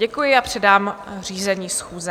Děkuji a předám řízení schůze.